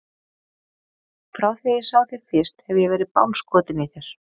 Frá því að ég sá þig fyrst hef ég verið bálskotinn í þér.